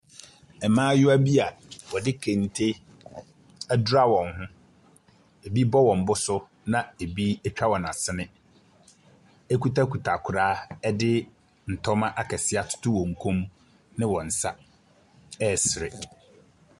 Mmaayewa bi a wɔde kente adura wɔn ho, ɛbi bɔ wɔn bo so na ɛbi atwa wɔn asene, kitakita kora de ntoma akɛseɛ atoto wɔn kɔn mu ne wɔn nsa resere.